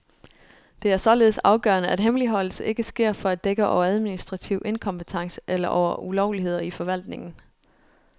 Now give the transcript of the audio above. Det er således afgørende, at hemmeligholdelse ikke sker for at dække over administrativ inkompetence eller over ulovligheder i forvaltningen.